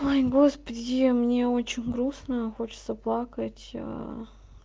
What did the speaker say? господи мне очень грустно и хочется плакать а